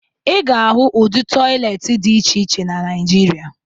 Ị ga-ahụ ụdị tọyịleetị dị iche iche na Naịjirịa